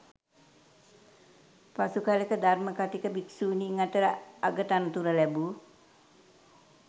පසුකලෙක ධර්ම කථික භික්ෂුණීන් අතර අගතනතුර ලැබූ